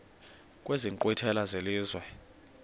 kwezi nkqwithela zelizwe